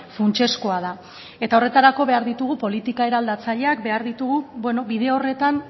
funtsezkoa da eta horretarako behar ditugu politika eraldatzaileak behar ditugu bide horretan